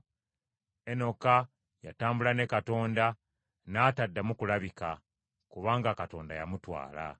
Enoka yatambula ne Katonda, n’ataddamu kulabika, kubanga Katonda yamutwala.